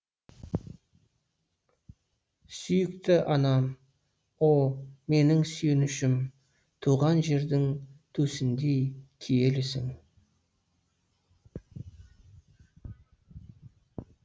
сүйікті анам о менің сүйенішім туған жердің төсіндей киелісің